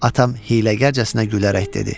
Atam hiyləgərcəsinə gülərək dedi: